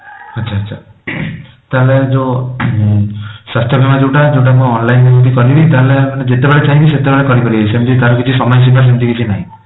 ଆଚ୍ଛା ଆଚ୍ଛା ତାହେଲେ ଯୋଉ ସ୍ୱାସ୍ଥ୍ୟ ବୀମା ଯୋଉଟା ଯୋଉଟା ମୁଁ online ଏମିତି କଲି ତାହେଲେ ଯେତେବେଳେ ଚାହିଁବି ସେତେବେଳେ ସେମିତି ତାର କିଛି ସମୟ ସୀମା ସେମିତି କିଛି ନାହିଁ